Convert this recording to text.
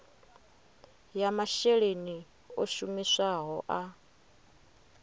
ya masheleni o shumisiwaho a